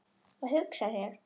Að hugsa sér.